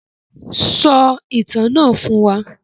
Sọ ìtàn náà fún wa.